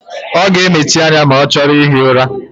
Ọ ga-emesi anya ya ma ọ chọrọ ihi ụra.